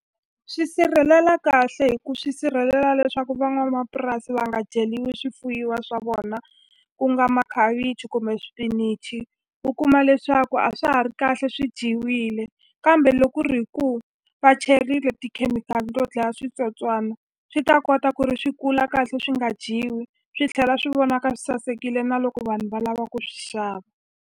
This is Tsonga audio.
Swi sirhelela kahle hi ku swi sirhelela leswaku van'wamapurasi va nga dyeliwi swifuyiwa swa vona ku nga makhavichi kumbe swipinichi u kuma leswaku a swa ha ri kahle swi dyiwile kambe loko ku ri hi ku va cherile tikhemikhali to dlaya switsotswana swi ta kota ku ri swi kula kahle swi nga dyiwi swi tlhela swi vonaka swi sasekile na loko vanhu va lava ku swi xava.